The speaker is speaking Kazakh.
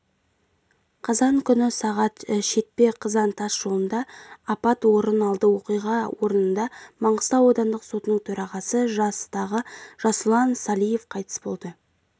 қазан күні сағат шетпе-қызан тас жолында апат орын алды оқиға орнында маңғыстау аудандық сотының төрағасы жастағы жасұлан салиев қайтыс болды